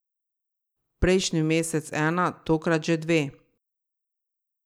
Prejšnji mesec ena, tokrat že dve.